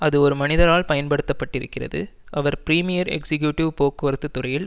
அது ஒரு மனிதரால் பயன்படுத்த பட்டிருக்கிறது அவர் பிரிமியர் எக்சிகியூட்டிவ் போக்குவரத்து துறையில்